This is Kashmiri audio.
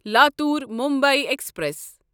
لاتور مُمبے ایکسپریس